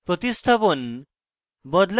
প্রতিস্থাপণ বদলানো